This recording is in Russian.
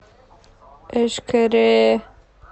эшкере